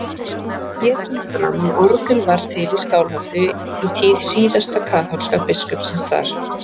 Hér kemur fram að orgel var til í Skálholti í tíð síðasta kaþólska biskupsins þar.